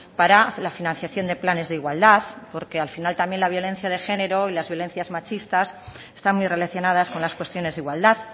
para la financiación de planes de igualdad porque al final también la violencia de género y las violencias machistas están muy relacionadas con las cuestiones de igualdad